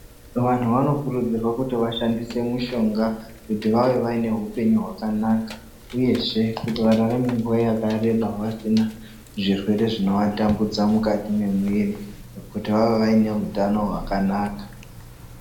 Vanhu vanokurudzirwa kuti vashandise mushonga kuti vaive vanehupenyu hwakanaka. Uyezve, kuti vararame nguwa yakareba vasina zvirwere zvinovatambudza mukati memwiri, kuti vave vayinehutano hwakanaka.